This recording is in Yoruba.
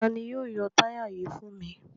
Ta ni yóò yọ táyà yìí fún mi?